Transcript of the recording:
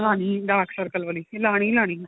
dark circle ਵਾਲੀ ਏ ਲਾਣੀ ਈ ਲਾਣੀ